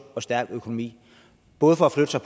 og stærk økonomi både for at flytte sig